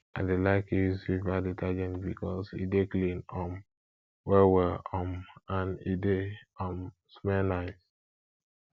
i dey like use viva detergent bikos e dey clean um well well um and e dey um smell nice